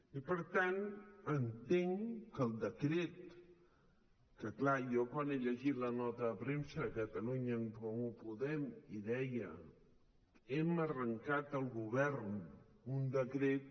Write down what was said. i per tant entenc que el decret que clar jo quan he llegit la nota de premsa de catalunya en comú podem i deia hem arrencat al govern un decret